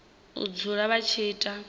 u dzula vha tshi ita